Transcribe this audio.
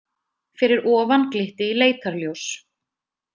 Fyrir ofan glitti í leitarljós.